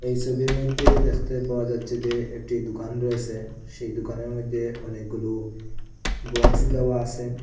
এই ছবির মইধ্যে দেখতে পাওয়া যাচ্ছে যে একটি দুকান রয়েসে সেই দুকানের মইধ্যে অনেকগুলো বক্স দেওয়া আসে।